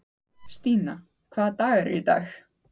Stína, hvaða dagur er í dag?